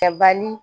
Kɛbali